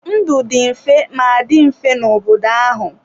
Ndụ dị mfe ma dị mfe n'obodo ahụ.